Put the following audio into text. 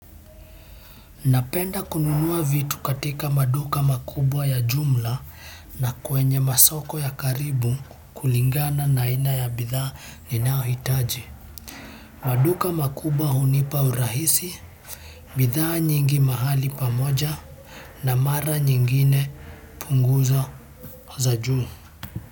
Napenda kununua vitu katika maduka makubwa ya jumla na kwenye masoko ya karibu kulingana na aina ya bidhaa ninaohitaji. Maduka makubwa hunipa urahisi, bidhaa nyingi mahali pamoja na mara nyingine punguzo za juu.